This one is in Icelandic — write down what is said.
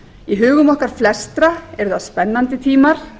í hugum okkar flestra eru það spennandi tímar